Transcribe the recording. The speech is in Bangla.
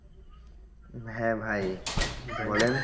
হ্যাঁ ভাই বলেন